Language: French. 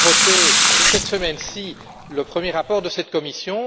Nous allons voter cette semaine ci le premier rapport de cette commission.